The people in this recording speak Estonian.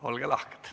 Olge lahked!